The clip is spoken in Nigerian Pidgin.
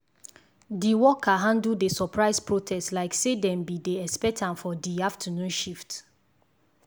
d worker handle the surprise protest like say dem be dey expect am for di afternoon shift.